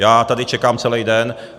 Já tady čekám celý den.